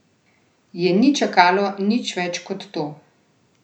Je ni čakalo nič več kot to?